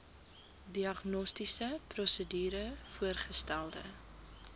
diagnostiese prosedure voorgestelde